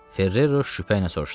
Ferrero şübhə ilə soruşdu.